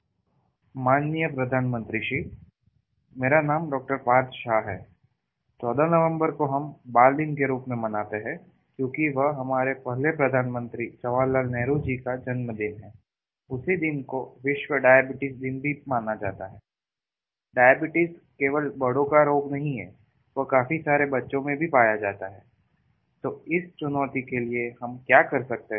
phone call माननीय प्रधानमंत्री जी मेरा नाम डॉपार्थ शाह है १४ नवम्बर को हम बाल दिन के रूप में मनाते हैं क्योंकि वो हमारे पहले प्रधानमन्त्री जवाहर लाल जी का जन्म दिन है उसी दिन को विश्व डायबिटीज दिन भी माना जाता है डायबिटीज केवल बड़ों का रोग नहीं है वो काफी सारे बच्चों में भी पाया जाता है तो इस चुनौती के लिए हम क्या कर सकते हैं